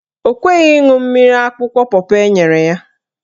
Ọ kweghị ịṅụ mmiri akwụkwọ pọpọ enyere ya.